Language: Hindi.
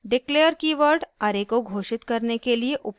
declare कीवर्ड array को घोषित करने के लिए उपयोग होता है